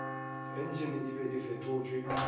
entšene e be e fetotšwe